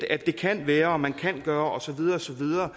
at det kan være og man kan gøre og så videre